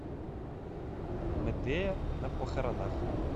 медея на похоронах